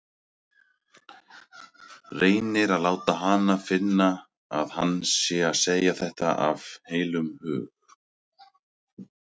Reynir að láta hana finna að hann sé að segja þetta af heilum hug.